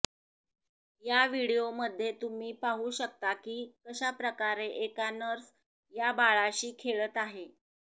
या व्हिडिओमध्ये तुम्ही पाहू शकता की कशा प्रकारे एका नर्स या बाळाशी खेळत आहे